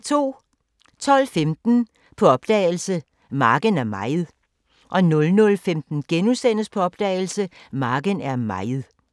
12:15: På opdagelse – Marken er mejet 00:15: På opdagelse – Marken er mejet *